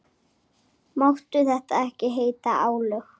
Máttu þetta ekki heita álög?